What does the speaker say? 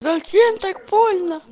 зачем так больно